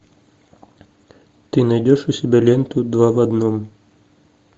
ты найдешь у себя ленту два в одном